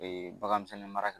bagan misɛnni mara